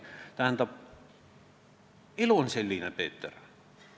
Tähendab, elu on selline, Peeter.